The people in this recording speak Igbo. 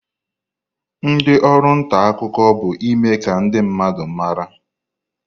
Ndi oru nta akuko bu ime ka ndi mmadu mara.